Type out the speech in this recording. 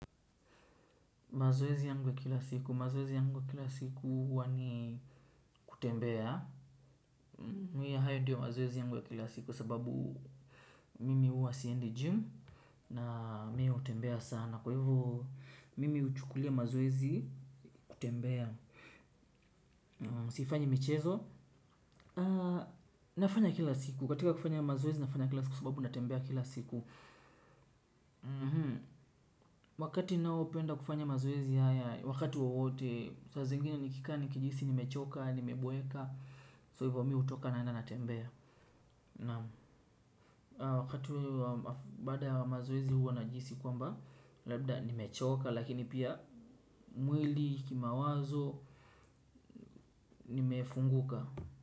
Mazoezi yangu ya kila siku. Mazoezi yangu ya kila siku huwa ni kutembea. Ni hayo ndiyo mazoezi yangu ya kila siku sababu mimi huwa siendi gym na mi hutembea sana. Kwa hivyo, mimi huchukulia mazoezi kutembea. Sifanyi michezo. Nafanya kila siku. Katika kufanya mazwezi, nafanya kila siku sababu natembea kila siku. Wakati naopenda kufanya mazoezi haya, wakati wowote, saa zingine nikikaa nikijihisi nimechoka, nimeboeka so hivo mi hutoka naenda natembea naam. Wakati huo wa baada ya mazoezi huwa najihisi kwamba labda nimechoka lakini pia mwili, kimawazo nimefunguka.